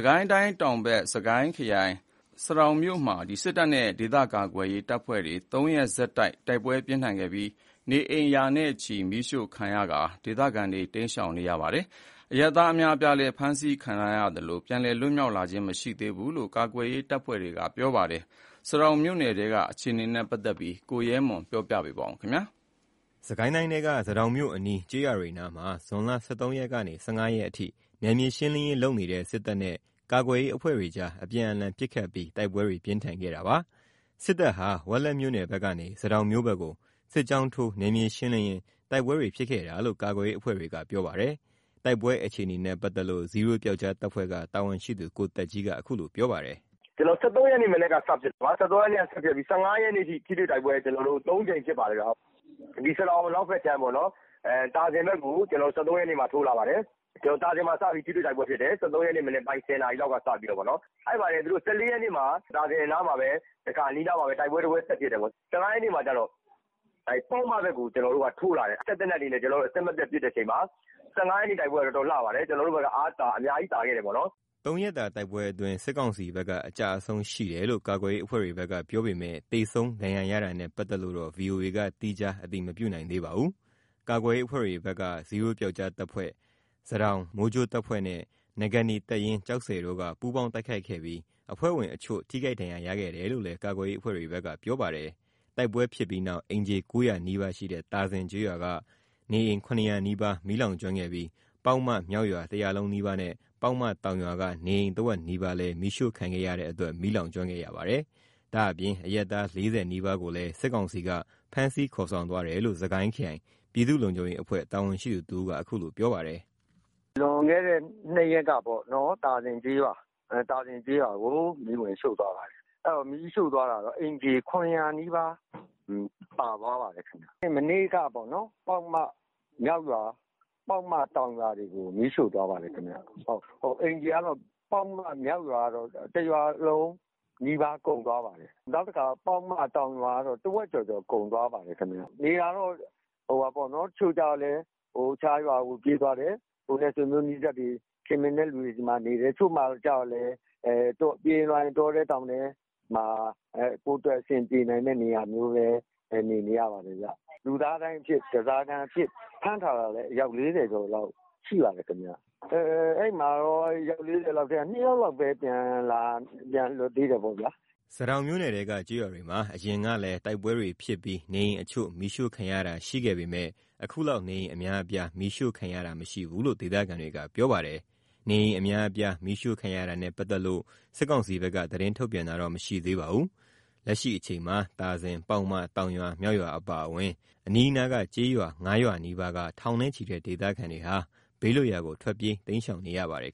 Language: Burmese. ကိုင်းတိုင်းတောင်ဘက် စစ်ကိုင်းခရိုင် ဆားတောင်မြို့မှာ စစ်တပ်နဲ့ ကာကွယ်ရေးအဖွဲ့တွေ ၃ ရက်ဆက်တိုက် တိုက်ပွဲတွေ ပြင်းထန်ခဲ့ပြီး နေအိမ်ရာနဲ့ချီ မီးရှို့ခံခဲ့ရလို့ ဒေသခံတွေ တိမ်းရှောင်နေရပါတယ်။ အရပ်သား အများအပြားလည်း ဖမ်းဆီးခံထားရပြီး ပြန်လည် လွတ်မြောက်လာခြင်း မရှိသေးဘူးလို့ ကာကွယ်ရေးအဖွဲ့တွေက ပြောပါတယ်။ ဆားတောင်မြို့နယ်ထဲက အခြေအနေတွေကို ကိုရဲမွန်က ပြောပြပါမယ်။ စစ်ကိုင်းခရိုင် ဆားတောင်မြို့အနီးက ကျေးရွာတွေနားမှာ ဇွန်လ ၁၃ ရက်ကနေ ၁၅ ရက်အထိ နယ်မြေရှင်းလင်းရေး လုပ်နေတဲ့ စစ်တပ်နဲ့ ကာကွယ်ရေးအဖွဲ့တွေကြား အပြန်အလှန်ပစ်ခတ်ပြီး တိုက်ပွဲတွေ ပြင်းထန်ခဲ့တာပါ။ စစ်တပ်ဟာ ဝက်လက်မြို့နယ်ဘက်ကနေ ဆားတောင်မြို့ဘက်ကို စစ်ကြောင်းထိုး နယ်မြေရှင်းလင်းရင်း တိုက်ပွဲတွေဖြစ်ခဲ့တာလို့ ကာကွယ်ရေးအဖွဲ့တွေက ပြောပါတယ်။ တိုက်ပွဲအခြေအနေနဲ့ ပတ်သက်လို့ Zero ဇီးရိုး ပြောက်ကျားတပ်ဖွဲ့က တာဝန်ရှိသူ ကိုသက်ကြီးက အခုလို ပြောပါတယ်။ “ကျွန်တော်တို့ ၁၃ ရက် မနက်က စဖြစ်ပြီး ၁၅ ရက်နေ့အထိ ထိတွေ့တိုက်ပွဲ ၃ ကြိမ်ဖြစ်ပါတယ်။ ဆားတောင် အနောက်ဖက်ခြမ်း သာဇင်ဘက်ကို ၁၃ ရက်နေ့မှာ ထိုးလာပါတယ်။ သာဇင်မှာ စပြီး ထိတွေ့တိုက်ပွဲဖြစ်တယ်။ ၁၃ ရက်နေ့ မနက် ၁၀ နာရီလောက်က စပြီးတော့ပေါ့နော်။ အဲ့မှာ ၁၄ ရက်နေ့ မနက်မှာ သာဇင်အနီးနားမှာပဲ တိုက်ပွဲတပွဲ ဆက်ဖြစ်တယ်ပေါ့နော်။ ၁၅ ရက်နေ့မှာ ပေါက်မဘက်ကို ထိုးလာတယ်။ စက်သေနတ်တွေနဲ့ အဆက်မပြတ်ပစ်တဲ့အချိန်မှာ ၁၅ ရက်နေ့ တိုက်ပွဲက တော်တော်လှပါတယ်။ ကျွန်တော်တို့ဘက်က အများကြီး သာခဲ့တယ်ပေါ့နော်။” ၃ ရက်တာ တိုက်ပွဲအတွင်း စစ်ကောင်စီဘက်က အကျအဆုံးရှိတယ်လို့ ကာကွယ်ရေးအဖွဲ့တွေဘက်က ပြောပေမယ့် သေဆုံး ဒဏ်ရာရတာနဲ့ ပတ်သက်လို့တော့ ဗွီအိုအေက သီးခြား အတည်မပြုနိုင်သေးပါဘူး။ ကာကွယ်ရေးအဖွဲ့တွေဘက် ဇီးရိုးပျောက်ကျားတပ်ဖွဲ့၊ ဆားတောင် မိုးကြိုးတပ်ဖွဲ့နဲ့ နဂါးနီတပ်ရင်း ကျောက်ဆည်တို့က ပူးပေါင်းတိုက်ခိုက်ခဲ့ပြီး အဖွဲ့ဝင်အချို့ ထိခိုက်ဒဏ်ရာ ရခဲ့တယ်လို့လည်း ကာကွယ်ရေးအဖွဲ့တွေဘက်က ပြောပါတယ်။ တိုက်ပွဲဖြစ်ပြီးနောက် အိမ်ခြေ ၉၀၀ နီးပါးရှိတဲ့ သာဇင်ကျေးရွာက နေအိမ် ၇၀၀ နီးပါး မီးလောင်ကျွမ်းခဲ့ပြီး၊ ပေါက်မ မြောက်ရွာ တရွာလုံးနီးပါးနဲ့ ပေါက်မတောင်ရွာက နေအိမ် တဝက်နီးပါးလည်း မီးရှို့ခံခဲ့ရတဲ့အတွက် မီးလောင်ကျွမ်းခဲ့ရပါတယ်။ ဒါ့အပြင် အရပ်သား ၄၀ နီးပါးကိုလည်း စစ်ကောင်စီက ဖမ်းဆီးခေါ်ဆောင်သွားတယ်လို့ စကိုင်းခရိုင် ပြည်သူ့လုံခြုံရေးအဖွဲ့ တာဝန်ရှိသူတဦးက အခုလို ပြောပါတယ်။ “လွန်ခဲ့တဲ့ ၂ ရက်က သာဇင်ကျေးရွာကို မီးဝင်ရှို့သွားပါတယ်။ မီးရှို့သွားတာတော့ အိမ်ခြေ ၇၀၀ နီးပါး ပါသွားပါတယ်။ မနေ့က ပေါက်မ မြောက်ရွာ ပေါက်မ တောင်ရွာတွေကို မီးရှို့သွားပါတယ်။ အိမ်ခြေက ပေါက်မ မြောက်ရွာက တရွာလုံးနီးပါး ကုန်သွားပါတယ်။ နောက်တခါ ပေါက်မ တောင်ရွာက တဝက်ကျော်ကျော် ကုန်သွားပါတယ်။ နေတာကတော့ တချို့ကလည်း တခြားရွာကို ပြေးသွားကြတယ်။ ကိုယ်နဲ့ဆွေမျိုးနီးစပ်သူ ခင်မင်တဲ့သူတွေဆီမှာနေတယ်။ တချို့ကျတော့လည်း ပြေးရင်းလွှားရင်း တောထဲတောင်ထဲမှာ ကိုယ့်အတွက် အဆင်ပြေနိုင်မယ့်နေရာမျိုးမှာ နေနေရပါတယ်။ လူသားဒိုင်းအဖြစ် ဓားစာခံအဖြစ် ဖမ်းထားတာလည်း အယောက် ၄၀ လောက်ရှိပါတယ်။ အဲ့မှာတော့ အယောက် ၄၀ မှာ ၂ ယောက်လောက်ပဲ ပြန်လွတ်သေးတယ်ပေါ့။” ဆားတောင်မြို့နယ်ထဲက ကျေးရွာတွေမှာ အရင်ကလည်း တိုက်ပွဲတွေဖြစ်ပြီး နေအိမ်အချို့ မီးရှို့ခံရတာ ရှိခဲ့ပေမယ့် အခုလောက် နေအိမ်အများအပြား မီးရှို့ခံရတာ မရှိဘူးလို့ ဒေသခံတွေက ပြောပါတယ်။ နေအိမ်အများအပြား မီးရှို့ခံရတာနဲ့ပတ်သက်လို့ စစ်ကောင်စီဘက်က သတင်းထုတ်ပြန်တာတော့ မရှိသေးပါဘူး။ လက်ရှိအချိန်မှာ သာဇင်၊ ပေါက်မ တောင်ရွာ၊ မြောက်ရွာ အပါအဝင် အနီးနားက ကျေးရွာ ၅ ရွာနီးပါးက ထောင်နဲ့ချီတဲ့ ဒေသခံတွေဟာ ဘေးလွတ်ရာကို တိမ်းရှောင်နေရပါတယ်